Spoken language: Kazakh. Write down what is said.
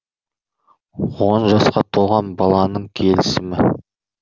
он жасқа толған баланың келісімі